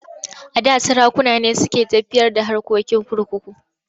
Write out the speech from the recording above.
A da sarakuna ne suke tafiyar da harkokin kurkuku.